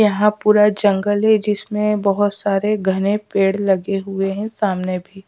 यहां पूरा जंगल है जिसमें बहोत सारे घने पेड़ लगे हुए हैं सामने भी--